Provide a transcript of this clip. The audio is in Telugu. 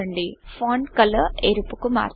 ఫాంట్ కలర్ ఎరుపు కు మార్చండి